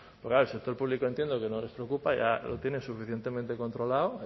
porque claro el sector público entiendo que no les preocupa ya lo tienen suficientemente controlado